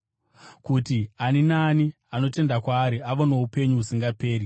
kuti ani naani anotenda kwaari ave noupenyu husingaperi.